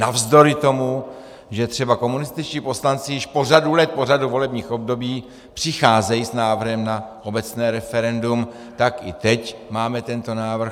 Navzdory tomu, že třeba komunističtí poslanci již po řadu let, po řadu volebních období přicházejí s návrhem na obecné referendum, tak i teď máme tento návrh.